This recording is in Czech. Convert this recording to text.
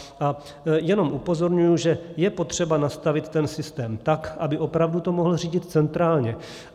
A jenom upozorňuji, že je potřeba nastavit ten systém tak, aby opravdu to mohl řídit centrálně.